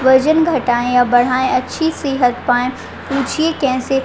वजन घटायें या बढ़ाएं। अच्छी सेहत पायें। पूछिए कैसे ?